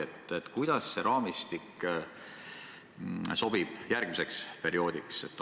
Aga kuidas see raamistik sobib järgmiseks perioodiks?